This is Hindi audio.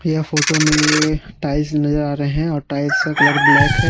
यह फोटो में टाइल्स नजर आ रहे हैं और टाइल्स का कलर ब्लैक है।